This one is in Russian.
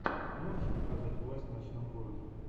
можешь показать власть в ночном городе